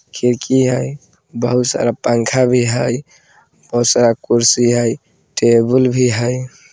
खिड़की है बहुत सारा पंखा भी है बहुत सारा कुर्सी है टेबल भी है।